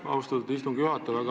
Aitäh, austatud istungi juhataja!